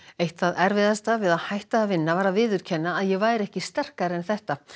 eitt það erfiðasta við að hætta að vinna var að viðurkenna að ég væri ekki sterkari en þetta